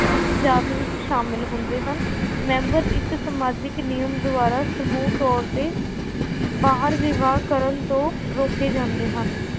ਉਸ ਜਾਤ ਵਿੱਚ ਸ਼ਾਮਿਲ ਹੁੰਦੇ ਹਨ ਮੈਂਬਰ ਇੱਕ ਸਮਾਜਿਕ ਨਿਯਮ ਦੁਆਰਾ ਸਮੂਹ ਤੌਰ ਤੇ ਬਾਹਰ ਵਿਵਾਹ ਕਰਨ ਤੋਂ ਰੋਕੇ ਜਾਂਦੇ ਹਨ